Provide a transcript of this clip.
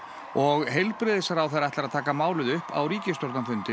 og heilbrigðisráðherra ætlar að taka málið upp á ríkisstjórnarfundi